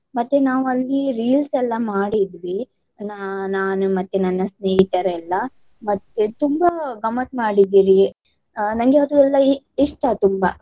ಮತ್ತೆ ನಾವು ಅಲ್ಲಿ reels ಎಲ್ಲ ಮಾಡಿದ್ವಿ. ನಾ~ ನಾನು ಮತ್ತೆ ನನ್ನ ಸ್ನೇಹಿತರೆಲ್ಲ. ಮತ್ತೆ ತುಂಬಾ ಗಮ್ಮತ್ ಮಾಡಿದ್ದಿವಿ. ನನ್ಗೆ ಅದು ಎಲ್ಲ ಇ~ ಇಷ್ಟ ತುಂಬಾ.